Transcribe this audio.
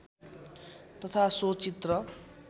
तथा सो चित्र